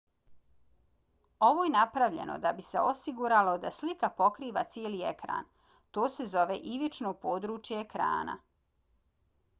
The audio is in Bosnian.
ovo je napravljeno da bi se osiguralo da slika pokriva cijeli ekran. to se zove ivično područje ekrana